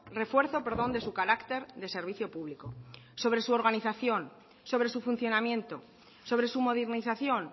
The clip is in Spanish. refuerzo de su carácter de servicio público sobre su organización sobre su funcionamiento sobre su modernización